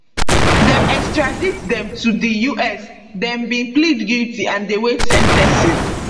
dem extradite dem to di us dem bin plead guilty and dey wait sen ten cing